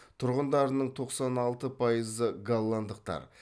тұрғындарының тоқсан алты пайызы голландықтар